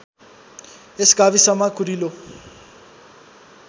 यस गाविसमा कुरिलो